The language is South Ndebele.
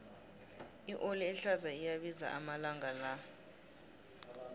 ioli ehlaza iyabiza amalanga la